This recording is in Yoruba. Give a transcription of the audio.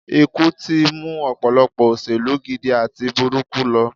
Ikú tí mú ọ̀pọ̀lọpọ̀ òṣèlú gidi àti burúkú lọ